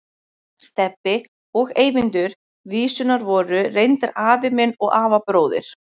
Stebbi og Eyvindur vísunnar voru reyndar afi minn og afabróðir.